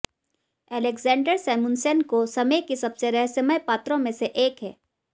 Alexander Samusenko समय की सबसे रहस्यमय पात्रों में से एक है